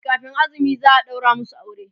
kamin azumi za'a ɗaura masu aure